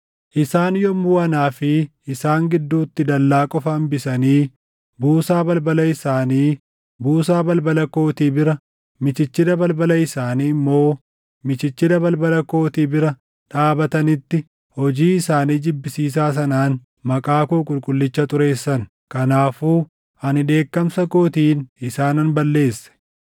Isaan yommuu anaa fi isaan gidduutti dallaa qofa hambisanii buusaa balbala isaanii buusaa balbala kootii bira, michichila balbala isaanii immoo michichila balbala kootii bira dhaabatanitti hojii isaanii jibbisiisaa sanaan maqaa koo qulqullicha xureessan. Kanaafuu ani dheekkamsa kootiin isaanan balleesse.